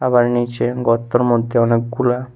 তার নিচে গর্তের মধ্যে অনেকগুলা--